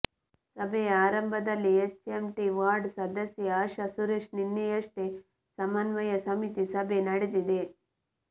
ಸಭೆಯ ಆರಂಭದಲ್ಲಿ HMT ward ಸದಸ್ಯೆ ಆಶಾ ಸುರೇಶ್ ನಿನ್ನೆಯಷ್ಟೇ ಸಮನ್ವಯ ಸಮಿತಿ ಸಭೆ ನಡೆದಿದೆ